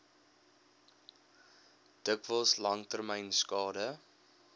dikwels langtermyn skade